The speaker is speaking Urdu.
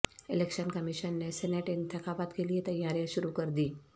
الیکشن کمیشن نے سینیٹ انتخابات کیلئے تیاریاں شروع کردیں